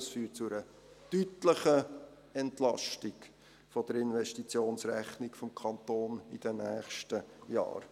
Dies führt zu einer deutlichen Entlastung der Investitionsrechnung des Kantons in den nächsten Jahren.